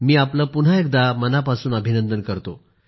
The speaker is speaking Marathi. मी आपले मनापासून अभिनंदन करतो